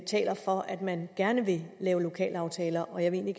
taler for at man gerne vil lave lokalaftaler og jeg vil